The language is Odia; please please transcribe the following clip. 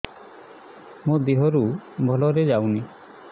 ମୋ ଦିହରୁ ଭଲରେ ଯାଉନି